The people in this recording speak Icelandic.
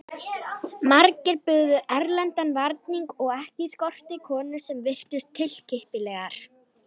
Margir buðu erlendan varning og ekki skorti konur sem virtust tilkippilegar.